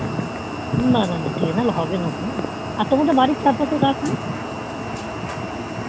না না না হবে না গো আর তোমাদের বাড়ির চার পশে গাছ নেই